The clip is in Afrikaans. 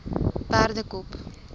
perdekop